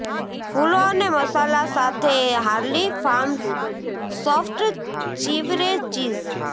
ફૂલો અને મસાલા સાથે Harley Farms soft chevre cheese